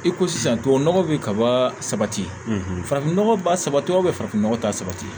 I ko sisan tubabu nɔgɔ be kaba sabati farafinnɔgɔ ba saba farafinɔgɔ ta sabati